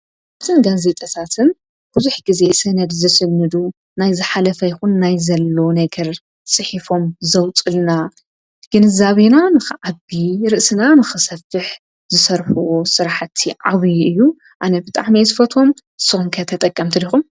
አዚ ጋዜጠኛታትን ብዙሕ ግዜ ስነድ ዝስንድ ናይ ዝሓለፈ ይኩን ናይ ዘሎ ነገር ፂሒፎም ዘውፀልና ግንዛቤና ንከዓብይ ርእስና ንክሰፍሕ ዝስርሕዎ ስራሕቲ ዓብይ እዩ። አነ ብጣዕሚ አየ ዝፈትዎም ንስካትኩም ከ ተጠቀምቲ ዲኩም?